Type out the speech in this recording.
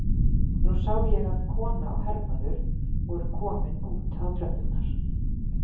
Nú sá ég að kona og hermaður voru komin út á tröppurnar.